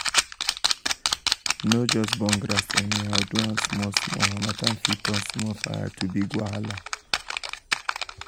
no just burn grass anyhow do am small small harmattan fit turn small fire to big wahala.